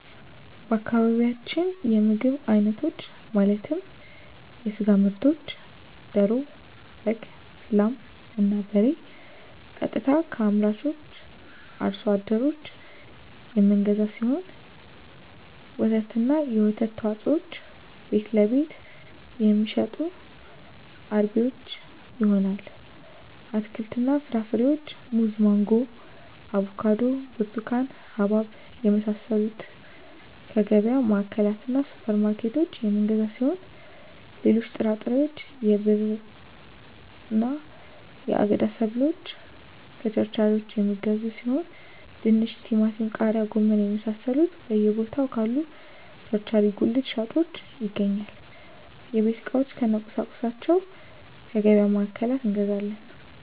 በአካባቢያችን የምግብ አይነቶች ማለትም የስጋ ምርቶችን ደሮ በግ ላም እና በሬ ቀጥታ ከአምራቹ አርሶ አደሮች የምንገዛው ሲሆን ወተትና የወተት ተዋፅኦዎችን ቤትለቤት የሚሸጡ አርቢዎች ይሆናል አትክልትና ፍራፍሬዎችን ሙዝ ማንጎ አቮካዶ ብርቱካን ሀባብ የመሳሰሉትከየገቢያ ማዕከላትእና ሱፐር ማርኬቶች የምንገዛ ሲሆን ሌሎች ጥራጥሬዎች የብዕርና የአገዳ ሰብሎችን ከቸርቻሪዎች የሚገዙ ሲሆን ድንች ቲማቲም ቃሪያ ጎመን የመሳሰሉት በየ ቦታው ካሉ ቸርቻሪ ጉልት ሻጮች ይገኛል የቤት ዕቃዎች እነ ቁሳቁሶች ከገቢያ ማዕከላት እንገዛለን